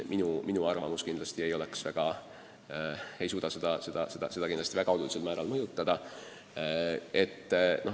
Minu arvamus kindlasti ei suuda seda olulisel määral mõjutada.